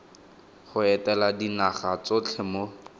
go etela dinaga tsotlhe mo